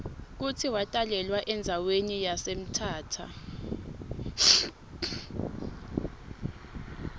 kutsi watalelwa endzawani yase mthatha